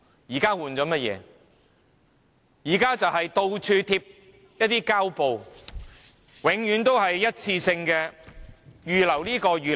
現在就是到處貼上膠布，永遠都是一次性的預留撥款。